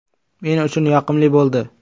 Men uchun yoqimli bo‘ldi.